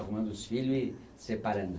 Arrumando uns filho e separando.